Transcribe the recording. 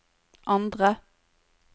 andre